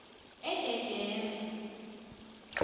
endedema